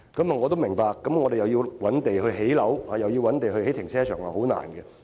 我也明白，我們既要覓地建屋，又要覓地興建停車場，實在很困難。